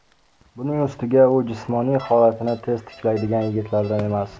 Buning ustiga u jismoniy holatini tez tiklaydigan yigitlardan emas.